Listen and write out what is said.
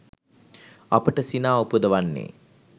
අපට සිනා උපදවන්නේ